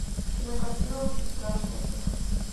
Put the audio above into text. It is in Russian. кинокартина очень страшное кино